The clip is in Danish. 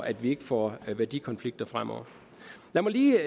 at vi ikke får værdikonflikter fremover jeg vil lige